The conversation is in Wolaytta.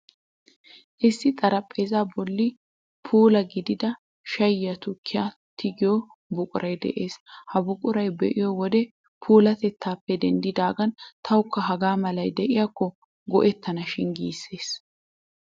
Issi xariphpheezzaa bolli puula gidida shayyiyaa tukkiyaa tigiyoo buquray de'ees. Ha buquraa be'iyoo wodee puulaatettaappe denddidaagan tawukka haga malay de'iyaakko go'ettanashin giissees.